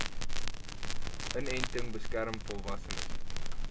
inenting beskerm volwassenes